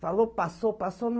Falou, passou, passou.